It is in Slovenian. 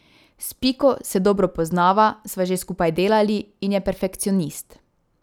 S Piko se dobro poznava, sva že skupaj delali in je perfekcionist.